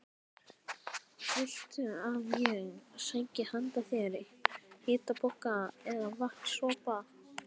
Viltu að ég sæki handa þér hitapoka eða vatns- sopa?